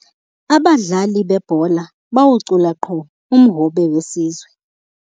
Abadlali bebhola bawucula qho umhobe wesizwe.